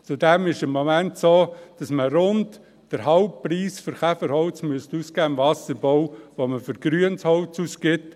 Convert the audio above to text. Zudem ist es momentan so, dass man im Wasserbau rund den halben Preis für Käferholz ausgeben müsste, den man für grünes Holz ausgibt.